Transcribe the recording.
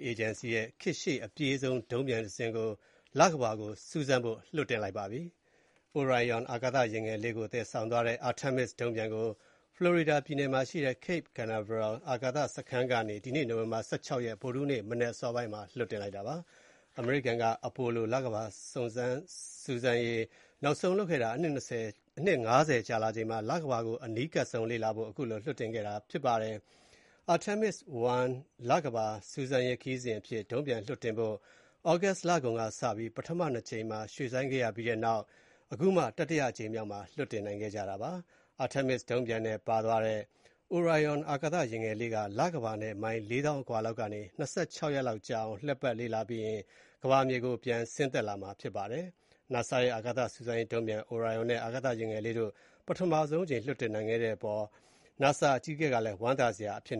အေဂျင်စီရဲ့ ခေတ်ရှေ့အပြေးဆုံး ဒုံးပျံတစင်းကို လကမ္ဘာကို စူးစမ်းဖို့ လွှတ်တင်လိုက်ပါတယ်။ Orion အာကာသယာဉ်ငယ်လေးကို သယ်ဆောင်သွားတဲ့ Artemis ဒုံးပျံကို Florida ပြည်နယ်မှာရှိတဲ့ Cape Canaveral အာကာသစခန်းကနေ ဒီနေ့ နိုဝင်ဘာ ၁၆ ရက် ဗုဒ္ဓဟူးနေ့ မနက်အစောပိုင်းမှာ လွှတ်တင်လိုက်တာပါ။ အမေရိကန်က Apollo လကမ္ဘာစူးစမ်းရေး နောက်ဆုံးလုပ်ခဲ့တာ အနှစ် ၅၀ အကြာမှာ လကမ္ဘာကို အနီးကပ်ဆုံးလေ့လာဖို့ ခုလိုလွှတ်တင်ခဲ့တာဖြစ်ပါတယ်။ Artemis I လကမ္ဘာစူးစမ်းရေးခရီးစဉ်အဖြစ် ဒုံးပျံလွှတ်တင်ဖို့ ပထမ ၂ ကြိမ်မှာ ရွှေ့ဆိုင်းခဲ့ပြီးနောက် အခု တတိယအကြိမ်မြောက်မှာ လွှတ်တင်နိုင်ခဲ့တာပါ။ Artemis ဒုံးပျံနဲ့ပါသွားတဲ့ Orion အာကာသယာဉ်ငယ်လေးက လကမ္ဘာနဲ့ မိုင် ၄ သောင်းအကွာလောက်ကနေ ၂၆ ရက်ကြာလောက် လှည့်ပတ် လေ့လာပြီးရင် ကမ္ဘာမြေကိုပြန်ဆင်းသက်လာမှာဖြစ်ပါတယ်။ နာဆာရဲ့ အာကာသစူးစမ်းရေးဒုံးပျံနဲ့ Orion အာကာသယာဉ်ငယ်လေးတို့ကို ပထမဆုံးအကြိမ်လွှတ်တင်နိုင်ခဲ့တာက သိပ်ကို ဝမ်းသာစရာဖြစ်